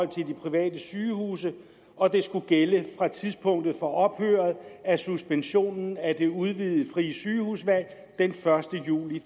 private sygehuse og skulle gælde fra tidspunktet for ophøret af suspensionen af det udvidede frie sygehusvalg den første juli